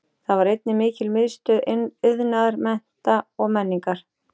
Þar var einnig mikil miðstöð iðnaðar, mennta og menningar.